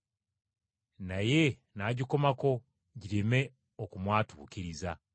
Naye n’agikomako gireme okumwatuukiriza.